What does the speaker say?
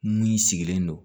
Mun sigilen don